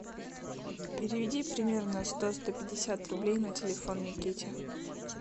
переведи примерно сто сто пятьдесят рублей на телефон никите